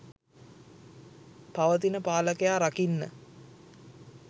පවතින පාලකයා රකින්න.